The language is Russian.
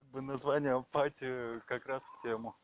в название апатия как раз в тему